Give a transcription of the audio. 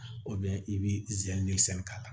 i bɛ k'a la